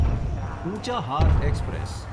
Unchahar express